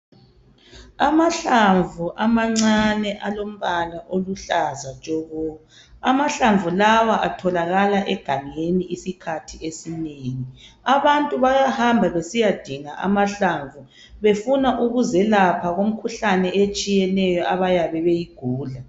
Amahlamvu amancane alombala oluhlaza tshoko. Amahlamvu lawa atholakala egangeni isikhathi esinengi. Abantu bayahamba besiyadinga amahlamvu befuna ukuzelapha kum'khuhlane etshiyeneyo abayabe beyigula